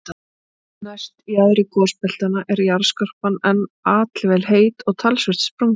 Næst jaðri gosbeltanna er jarðskorpan enn allvel heit og talsvert sprungin.